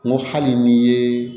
N ko hali n'i ye